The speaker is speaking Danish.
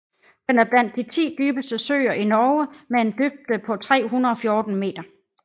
Den er blandt de 10 dybeste søer i Norge med en største dybde på 314 meter